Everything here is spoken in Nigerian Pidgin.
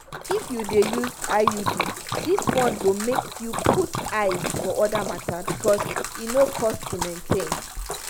if you dey use iud this one go make you put eyes for other matter because e no cost to maintain.